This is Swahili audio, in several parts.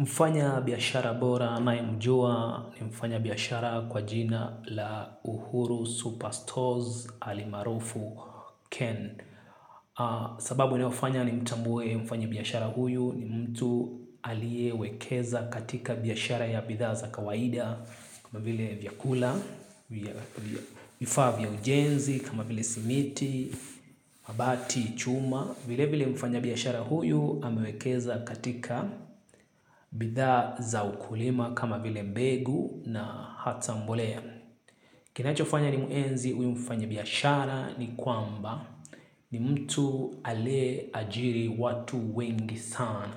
Mfanyabiashara bora nayemjua ni mfanyabiashara kwa jina la Uhuru Superstores ali maarufu Ken. Sababu inayofanya nimtambue mfanyabiashara huyu ni mtu aliyewekeza katika biashara ya bidhaa za kawaida. Kama vile vyakula, vifaa vya ujenzi, kama vile simiti, mabati, chuma. Vile vile mfanyabiashara huyu amewekeza katika bidhaa za ukulima kama vile mbegu na hata mbolea. Kinachofanya nimuenzi huyu mfanya biashara ni kwamba ni mtu ale ajiri watu wengi sana.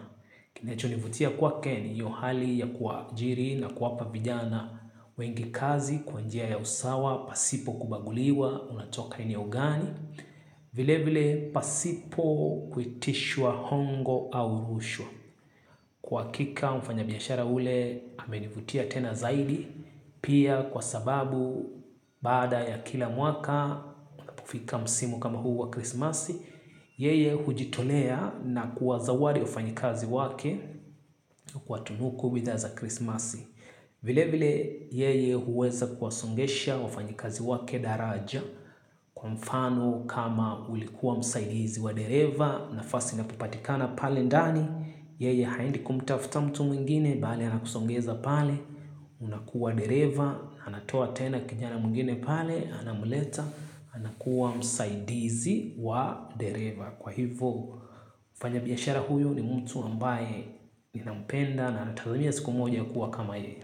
Kinachonivutia kwake ni hiyo hali ya kuwaajiri na kuwapa vijana wengi kazi kwa njia ya usawa pasipo kubaguliwa unatoka eneo gani. Vile vile pasipo kuitishwa hongo au rushwa. Kwa kika mfanyabiashara ule amenivutia tena zaidi. Pia kwa sababu baada ya kila mwaka pufika msimu kama huu wa krismasi. Yeye hujitolea na kuwazawadi wafanyikazi wake. Kwa tunuku wiza za krismasi. Vile vile yeye huweza kuwasongesha wafanyikazi wake daraja kwa mfano kama ulikuwa msaidizi wa dereva nafasi inapopatikana pale ndani yeye haendi kumtafuta mtu mwingine bali anakusongeza pale unakuwa dereva anatoa tena kijana mwingine pale anamleta anakuwa msaidizi wa dereva kwa hivo mfanyabiashara huyu ni mtu ambaye nampenda na natazamia siku moja kuwa kama yeye.